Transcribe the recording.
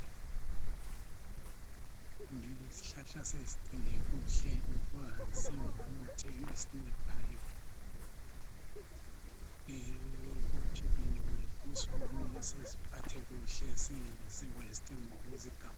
kumele izihlahla sizigcine kuhle ngoba zingumuthi osincedayo ekuphileni kwethu kumele siziphathe kuhle singazi waste ngokuzigamula